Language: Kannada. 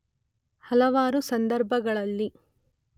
ಹಲವಾರು ಸಂದರ್ಭಗಳಲ್ಲಿ